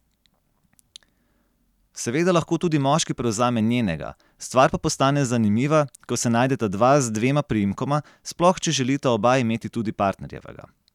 Seveda lahko tudi moški prevzame njenega, stvar pa postane zanimiva, ko se najdeta dva z dvema priimkoma, sploh če želita oba imeti tudi partnerjevega.